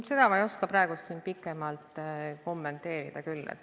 Seda ma ei oska praegu pikemalt kommenteerida küll.